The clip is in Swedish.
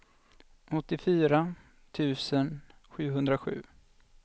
åttiofyra tusen sjuhundrasju